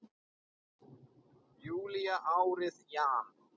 júlí árið jan.